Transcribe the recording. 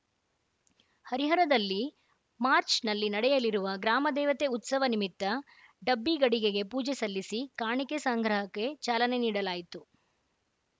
ಹರಿಹರದಲ್ಲಿ March ನಲ್ಲಿ ನಡೆಯಲಿರುವ ಗ್ರಾಮದೇವತೆ ಉತ್ಸವ ನಿಮಿತ್ತ ಡಬ್ಬಿಗಡಿಗೆಗೆ ಪೂಜೆ ಸಲ್ಲಿಸಿ ಕಾಣಿಕೆ ಸಂಗ್ರಹಕ್ಕೆ ಚಾಲನೆ ನೀಡಲಾಯಿತು